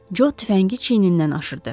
Co tüfəngi çiynindən aşırdı.